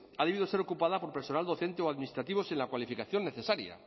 ha debido de ser ocupada por personal docente o administrativo sin la cualificación necesaria